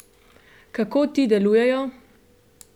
Kako ti delujejo?